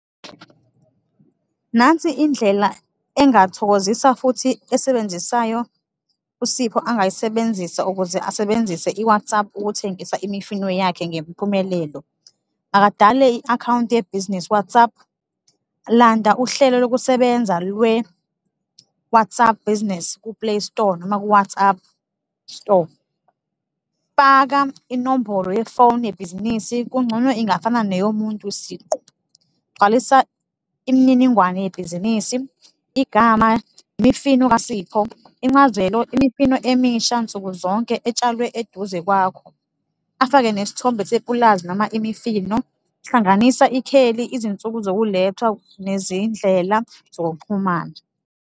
Nansi indlela engathokozisa futhi esebenzisayo uSipho angayisebenzisa ukuze asebenzise i-WhatsApp ukuthengisa imifino yakhe ngempumelelo. Akadale iakhawunti ye-Business Whatsapp, landa uhlelo lokusebenza lwe-WhatsApp Business ku Playstore noma ku-Whatsapp store, faka inombolo ye-phone yebhizinisi, kungcono ingafana neyomuntu siqu, gcwalisa imininingwane yebhizinisi, igama, imifino kaSipho, incazelo, imifino emisha nsukuzonke etshalwe eduze kwakho, afake nesithombe sepulazi noma imifino, hlanganisa ikheli, izinsuku zokulethwa nezindlela zokuxhumana.